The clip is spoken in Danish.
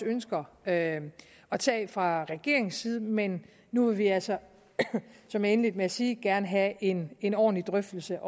ønsker at at tage fra regeringens side men nu vil vi altså som jeg indledte med at sige også gerne have en en ordentlig drøftelse